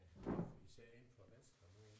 Især inden for venstre nu